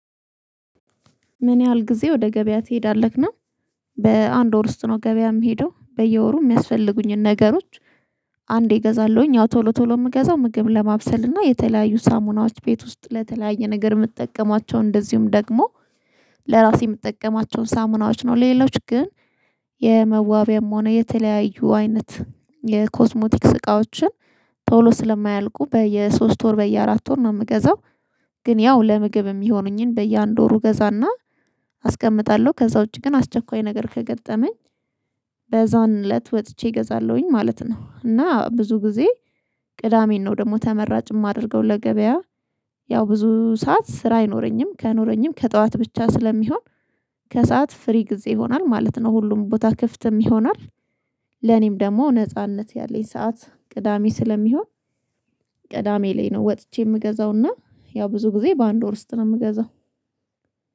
ምን ያህል ጊዜ ወደ ገበያ ትሄዳለህና? በአንድ ወር ውስጥ ነው ገበያ የምሄደው በየወሩ የሚያስፈልጉኝን ነገሮች። አንዴ እገዛለሁኝ አዎ ቶሎ ቶሎ የምገዛው ምግብ ለማብሰል እና የተለያዩ ሳሙናዎች ቤት ውስጥ ለተለያየ ነገር የምትጠቀማቸው እንደዚሁም ደግሞ ለራሴ የምጠቀማቸውን ሳሙናዎች ነው። ሌሎች ግን የመዋቢያም ሆነ የተለያዩ አይነት የኮዝሞቲክስ እቃዎችን። ቶሎ ስለማያልቁ በየሶስት ወር በየአራት ወር ነው የምገዛው። ግን ያው ለምግብ የሚሆኑኝን በየአንድ ወር ገዛና አስቀምጣለሁ። ከዛ ውጪ ግን አስቸኳይ ነገር ከገጠመኝ በዛን እለት ወጥቼ እገዛለሁኝ ማለት ነው። እና ብዙ ጊዜ ቅዳሜን ነው ደግሞ ተመራጭ የማደርገው ለገበያ። ያው ብዙ ሰዓት ስራ አይኖረኝም ከኖረኝም ከጠዋት ብቻ ስለሚሆን። ከሰአት ፍሪ ጊዜ ይሆናል ማለት ነው ሁሉም ቦታ ክፍትም ይሆናል። ለኔም ደግሞ ነጻነት ያለኝ ሰዓት ቅዳሜ ስለሚሆን። ቅዳሜ ላይ ነው ወጥቼ የምገዛውና ያው ብዙ ጊዜ በአንድ ወር ውስጥ ነው የምገዛው።